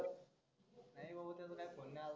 नाही भाऊ त्याच्या काही phone नाही आला